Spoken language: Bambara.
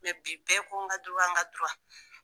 Mɛ bi bɛɛ ko n ka n ka